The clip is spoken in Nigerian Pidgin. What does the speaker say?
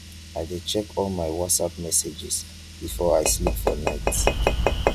i dey check all my whatsapp messages before i sleep for night.